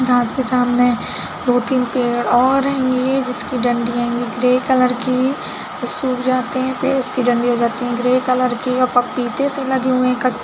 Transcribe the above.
घाँस के सामने दो तीन पेड़ और है ये जिसकी डंडी आएगी ग्रे कलर की सुख जाते है पेड़ उसकी डंडी आएगी ग्रे कलर की और पीते से लगी हुए क--